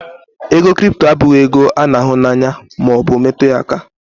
ego crypto abụghị ego a n'ahụ na anya ma o bu metu ya aka